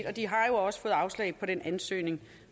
og de har jo også fået afslag på den ansøgning